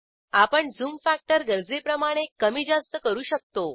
आपण zoom factor गरजेप्रमाणे कमी जास्त करू शकतो